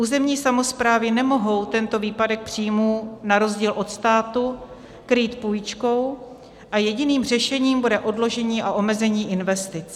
Územní samosprávy nemohou tento výpadek příjmů na rozdíl od státu krýt půjčkou a jediným řešením bude odložení a omezení investic.